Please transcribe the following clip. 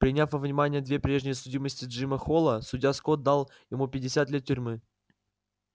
приняв во внимание две прежние судимости джима холла судья скотт дал ему пятьдесят лет тюрьмы